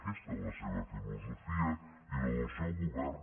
aquesta és la seva filosofia i la del seu govern